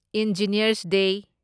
engineers ꯗꯦ